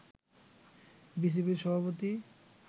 বিসিবির সভাপতি